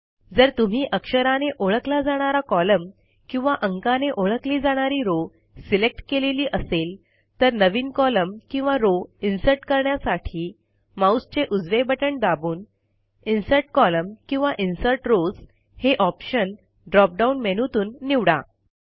जर तुम्ही अक्षराने ओळखला जाणारा कॉलम किंवा अंकाने ओळखली जाणारी रो सिलेक्ट केलेली असेल तर नवीन कॉलम किंवा रो इन्सर्ट करण्यासाठी माऊसचे उजवे बटण दाबून इन्सर्ट कोलम्न किंवा इन्सर्ट रॉव्स हे ऑप्शन ड्रॉप डाऊन मेनूतून निवडा